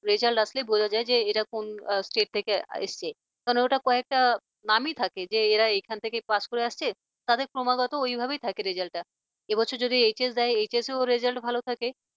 result আসলে বোঝা যায় যে এরা কোন state থেকে এসেছে কারণ ওটা কয়েকটা নামই থাকে যে এরা এখান থেকে pass করে আসছে তাদের ক্রমাগত ওইভাবেই থাকে result এ বছর যদি HS দেয় HSresult ভালো থাকে